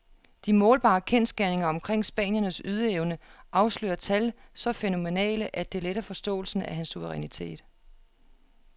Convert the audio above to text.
De målbare kendsgerninger omkring spanierens ydeevne afslører tal så fænomenale, at det letter forståelsen af hans suverænitet.